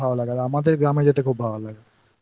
ভালো লাগে আর আমাদের গ্রামে যেতে খুব ভালো লাগে